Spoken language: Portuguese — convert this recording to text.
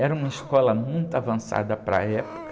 Era uma escola muito avançada para a época.